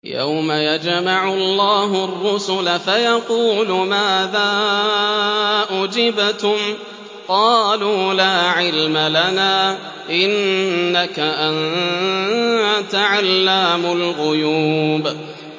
۞ يَوْمَ يَجْمَعُ اللَّهُ الرُّسُلَ فَيَقُولُ مَاذَا أُجِبْتُمْ ۖ قَالُوا لَا عِلْمَ لَنَا ۖ إِنَّكَ أَنتَ عَلَّامُ الْغُيُوبِ